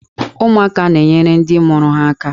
Ụmụaka na-enyere ndị mụrụ ha aka.